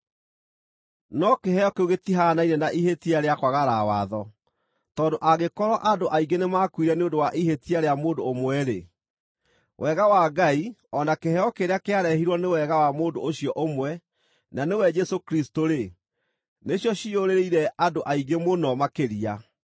No kĩheo kĩu gĩtihaanaine na ihĩtia rĩa kwagarara watho. Tondũ angĩkorwo andũ aingĩ nĩmakuire nĩ ũndũ wa ihĩtia rĩa mũndũ ũmwe-rĩ, wega wa Ngai o na kĩheo kĩrĩa kĩarehirwo nĩ wega wa mũndũ ũcio ũmwe, na nĩwe Jesũ Kristũ-rĩ, nĩcio ciiyũrĩrĩire andũ aingĩ mũno makĩria!